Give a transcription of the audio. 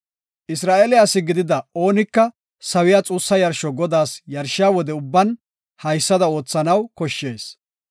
Isra7eele asi gidida oonika sawiya xuussa yarsho Godaas yarshiya wode ubban haysada oothanaw koshshees.